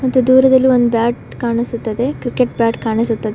ಮತ್ತು ದೂರದಲ್ಲಿ ಒಂದು ಬ್ಯಾಟ್ ಕಾಣಿಸುತ್ತದೆ ಕ್ರಿಕೆಟ್ ಬ್ಯಾಟ್ ಕಾಣಿಸುತ್ತದೆ.